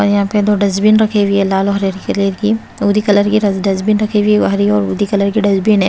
और यहाँ पे दो डस्टबीन रखी हुई हैं लाल और हरी हरी कलर की दो ही कलर की डस्टबीन रखी हुई है हरी और उदि कलर की डस्टबिन है।